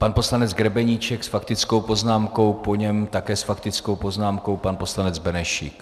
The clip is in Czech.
Pan poslanec Grebeníček s faktickou poznámkou, po něm také s faktickou poznámkou pan poslanec Benešík.